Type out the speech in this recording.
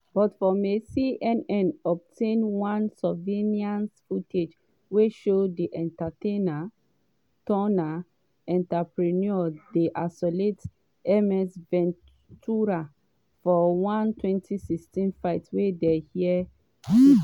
but for may cnn obtain one surveillance footage wey show di entertainer-turned-entrepreneur dey assault ms ventura for one 2016 fight wey dey her suit.